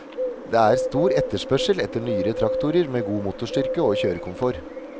Det er stor etterspørsel etter nyere traktorer med god motorstyrke og kjørekomfort.